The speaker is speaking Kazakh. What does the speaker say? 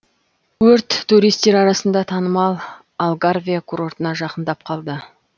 өрт туристер арасында танымал алгарве курортына жақындап қалды